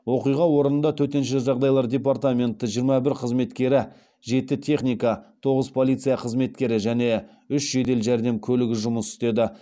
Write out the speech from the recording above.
оқиға орында төтенше жағдайлар департаменті жиырма бір қызметкері жеті техника тоғыз полиция қызметкері және үш жедел жәрдем көлігі жұмыс істеді